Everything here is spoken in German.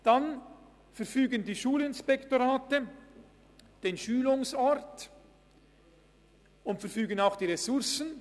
Weiter verfügen die Schulinspektorate den Schulungsort und die Ressourcen.